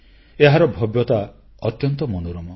ଏହାର ଭବ୍ୟତା ଅତ୍ୟନ୍ତ ମନୋରମ